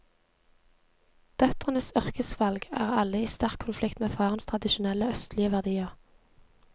Døtrenes yrkesvalg er alle i sterk konflikt med farens tradisjonelle østlige verdier.